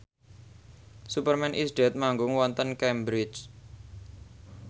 Superman is Dead manggung wonten Cambridge